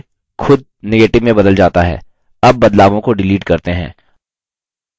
उत्तर फिर से खुद negative में बदल जाता है